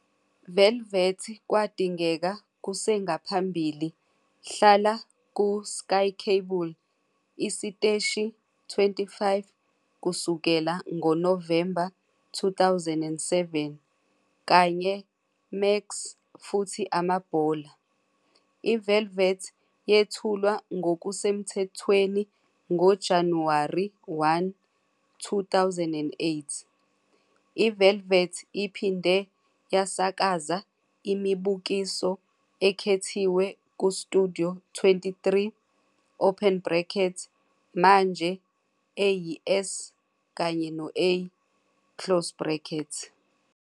Velvet kwadingeka kusengaphambili hlala ku SkyCable isiteshi 25 kusukela ngo-November 2007, kanye Maxxx futhi Amabhola. IVelvet yethulwa ngokusemthethweni ngoJanuwari 1, 2008. IVelvet iphinde yasakaza imibukiso ekhethiwe kuStudio 23, manje eyiS plus A.